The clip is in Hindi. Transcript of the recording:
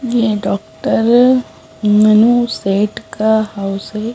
ये डॉक्टर मनु सेठ का हाउस है।